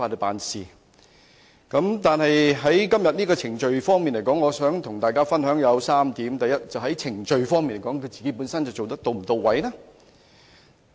但是，就今天這項議案而言，我想跟大家分享3點，第一，在程序方面，反對派議員是否做得到位？